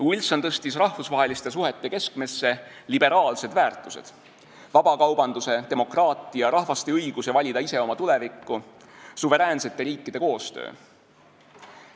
Wilson tõstis rahvusvaheliste suhete keskmesse liberaalsed väärtused: vabakaubanduse, demokraatia, rahvaste õiguse valida ise oma tulevikku, suveräänsete riikide koostöö.